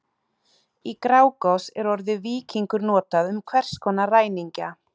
Í Grágás er orðið víkingur notað um hvers konar ræningja.